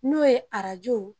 N'o ye arajo.